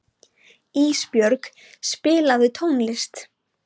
Ísbjörg, spilaðu tónlist.